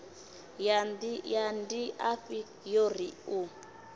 ya ndiafhi yo ri u